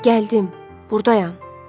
Gəldim, burdayam.